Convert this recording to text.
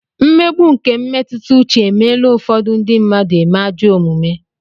Mmegbu nke mmetụta uche e meela ụfọdụ ndị mmadụ eme ajọ omume.